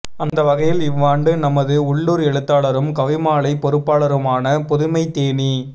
அந்த வகையில் இவ்வாண்டு நமது உள்ளூர் எழுத்தாளரும் கவிமாலை பொறுப்பாளருமான புதுமைத்தேனீ மா